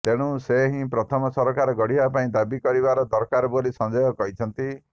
ତେଣୁ ସେ ହିଁ ପ୍ରଥମେ ସରକାର ଗଢ଼ିବା ପାଇଁ ଦାବି କରିବା ଦରକାର ବୋଲି ସଞ୍ଜୟ କହିଛନ୍ତି